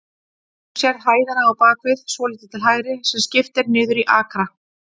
Þú sérð hæðina á bakvið, svolítið til hægri, sem skipt er niður í akra?